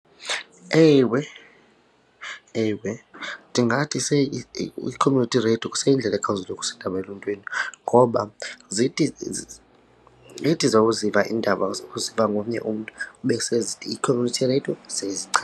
Ewe, ewe ndingathi i-community radio kuseyindlela ekhawulezileyo ukusa iindaba eluntwini ngoba zithi ithi zakuziva iindaba uziva ngomnye umntu ube i-community radio .